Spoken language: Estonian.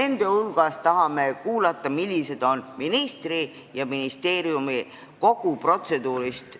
Muu hulgas tahame kuulda, millised on ministri ja ministeeriumi järeldused kogu sellest protseduurist.